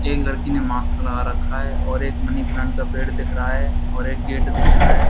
एक लड़की ने मास्क लगा रखा है और एक मनी प्लांट का पेड़ दिख रहा है और एक गेट दिख रहा है।